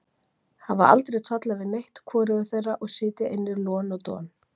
Hafa aldrei tollað við neitt, hvorugur þeirra, og sitja inni lon og don.